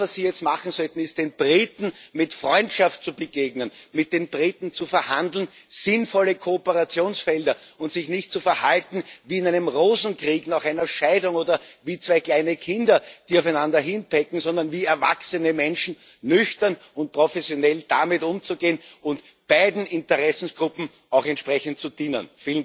Das, was Sie jetzt machen sollten, ist, den Briten mit Freundschaft zu begegnen, mit den Briten zu verhandeln sinnvolle Kooperationsfelder und sich nicht so zu verhalten wie in einem Rosenkrieg nach einer Scheidung oder wie zwei kleine Kinder, die aufeinander hinpecken, sondern wie erwachsene Menschen nüchtern und professionell damit umzugehen und beiden Interessengruppen auch entsprechend zu dienen.